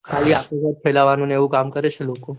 ખાલી વાળ ફેલાવાનું ને એવું કામ કરે છે લોકો